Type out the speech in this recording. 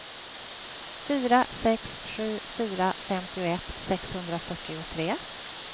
fyra sex sju fyra femtioett sexhundrafyrtiotre